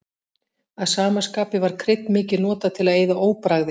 Að sama skapi var krydd mikið notað til að eyða óbragði.